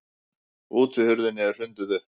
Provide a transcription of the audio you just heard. Útihurðinni er hrundið upp.